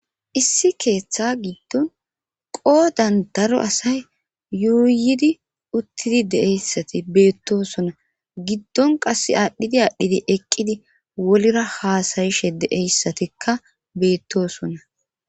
Issi keeththa giddon qoodan daro asay yuuyidi uttidi deeyssati beettosona giddon qas aadhdhidi aadhdhidi eqqidi wolira haasayishe deeyssatikka beettosona